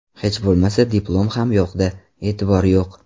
Hech bo‘lmasa diplom ham yo‘qda, e’tibor yo‘q.